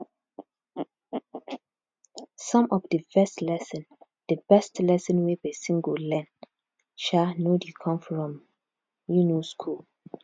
some of di best lesson di best lesson wey person go learn um no dey come from um school